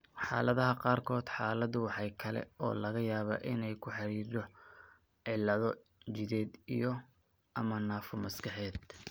Xaaladaha qaarkood, xaaladdu waxa kale oo laga yaabaa inay la xidhiidho cillado jidheed iyo/ama naafo maskaxeed.